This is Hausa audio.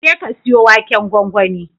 Jeka ka siyo waken gwangwani.